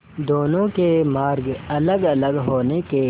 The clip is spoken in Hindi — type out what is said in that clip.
दोनों के मार्ग अलगअलग होने के